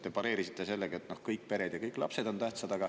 Te pareerisite seda sellega, et kõik pered ja kõik lapsed on tähtsad.